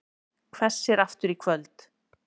Hvessir aftur í kvöld